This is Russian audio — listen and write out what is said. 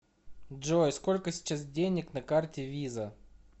джой сколько сейчас денег на карте виза